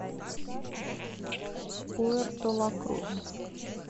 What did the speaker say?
пуэрто ла крус